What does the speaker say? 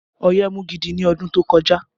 Ọ̀yẹ́ mú gidi ni ọdún tó kọjá